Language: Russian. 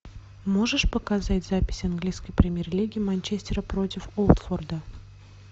можешь показать запись английской премьер лиги манчестера против уотфорда